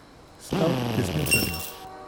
Stav desničarjev.